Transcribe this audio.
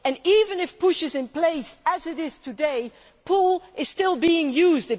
Even if push' is in place, as it is today, pull' is still being used.